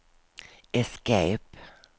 escape